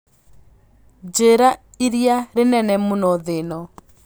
njĩira ĩrĩa rĩnene mũno thĩ ĩno